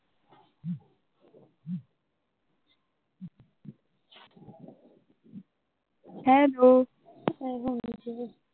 hello